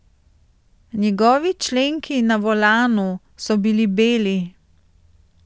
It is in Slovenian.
Njegovi členki na volanu so bili beli.